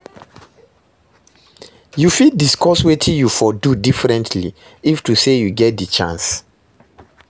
You fit discuss wetin you for do differentiy if to say you get di chance?